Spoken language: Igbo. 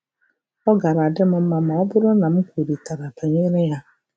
Ọ gaara adị m mma ma ọ bụrụ na m kwurịtara banyere ya.